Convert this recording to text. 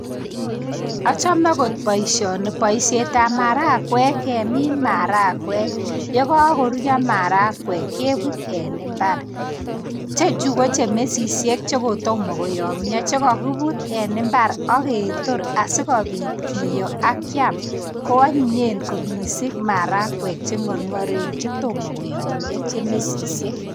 Achome kot boishoni boishetab maragwek kemin maragwek yekokoruryo maragwek kebut en imbar. Chechu ko che mesisiek chekotomo koyomyo chekokibut en imbar aketor asikobit kiyoo ak kiam ko anyinyen kot missing maragwek che ngorngoren chetomo koyomyo che mesisiek.